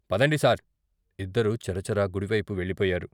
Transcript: పదండి సార్ " ఇద్దరూ చరా చరా గుడివైపు వెళ్ళిపోయారు.